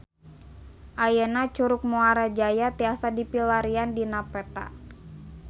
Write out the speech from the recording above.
Ayeuna Curug Muara Jaya tiasa dipilarian dina peta